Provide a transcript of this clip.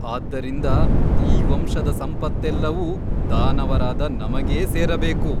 ಆದ್ದರಿಂದ ಈ ವಂಶದ ಸಂಪತ್ತೆಲ್ಲವೂ ದಾನವರಾದ ನಮಗೇ ಸೇರಬೇಕು.